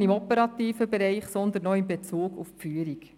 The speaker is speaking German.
im operativen Bereich, sondern auch in Bezug auf die Führung.